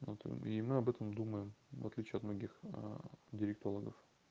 ну там и мы об этом думаем в отличие от многих директологов